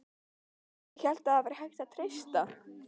ÉG HÉLT AÐ ÞAÐ VÆRI HÆGT AÐ TREYSTA